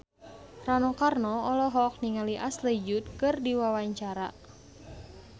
Rano Karno olohok ningali Ashley Judd keur diwawancara